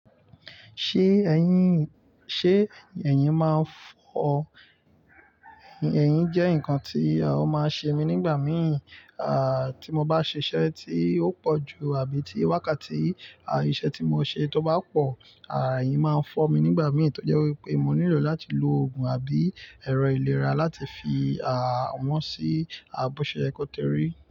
Ṣé ẹ̀yin, ṣe ẹ̀yin, ẹ̀yin máa ń fọ́, ẹ̀yin jẹ́ nǹkan tí ó máa ń ṣe mi nígbà mìí, tí mo bá ṣe iṣẹ́ tí ó pọ̀ ju àbí tí wákàtí iṣẹ́ tí mo ṣe tó bá pọ̀, ẹ̀yin máa ń fọ́ mi nígbà mìí tó jé wipé mo nílò láti lo òògùn àbí ẹ̀rọ ìlera láti fi wọ́n sí, bó ṣe yẹ kò tí rí.